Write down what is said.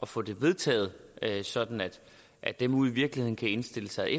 få det vedtaget sådan at dem ude i virkeligheden kan indstille sig